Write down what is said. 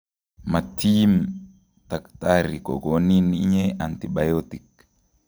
Matiim takitari kokonin inye antibiotic